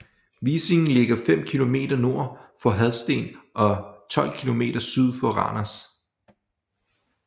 Vissing ligger fem kilometer nord for Hadsten og 12 kilometer syd for Randers